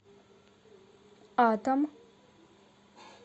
атом